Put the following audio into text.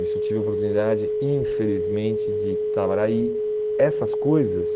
Isso eu tive a oportunidade, infelizmente, de trabalhar e essas coisas...